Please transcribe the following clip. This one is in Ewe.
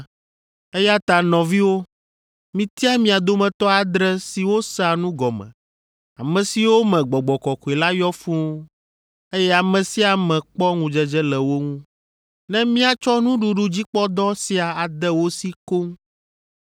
Eya ta nɔviwo, mitia mia dometɔ adre siwo sea nu gɔme, ame siwo me Gbɔgbɔ Kɔkɔe la yɔ fũu, eye ame sia ame kpɔ ŋudzedze le wo ŋu, ne míatsɔ nuɖuɖudzikpɔdɔ sia ade wo si koŋ,